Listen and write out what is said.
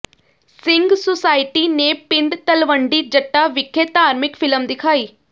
Singh society ਨੇ ਪਿੰਡ ਤਲਵੰਡੀ ਜੱਟਾਂ ਵਿਖੇ ਧਾਰਮਿਕ ਫ਼ਿਲਮ ਦਿਖਾਈ